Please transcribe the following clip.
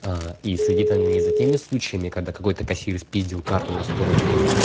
а и следи там не за теми случаями когда какой-то кассир спиздил карту на сто рублей